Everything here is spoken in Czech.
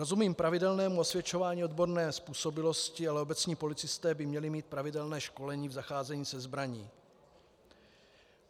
Rozumím pravidelnému osvědčování odborné způsobilosti, ale obecní policisté by měli mít pravidelné školení v zacházení se zbraní.